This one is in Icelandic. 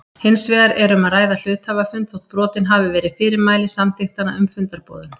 Hins vegar er um að ræða hluthafafund þó brotin hafi verið fyrirmæli samþykktanna um fundarboðun.